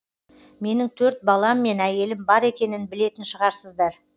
менің төрт балам мен әйелім бар екенін білетін шығарсыздар